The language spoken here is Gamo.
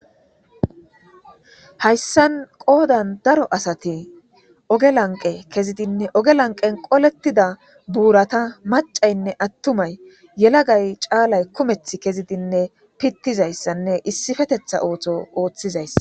hayssan qoodan daro asati ogge lanqe kezidinne oge lanqen qolettida buurata macaynne attumay yelagay caalay kumeth kezidinne pittizayssanne issifetetha ootho ooththizayssa.